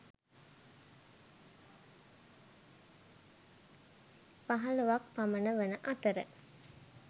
පහළොවක් පමණ වන අතර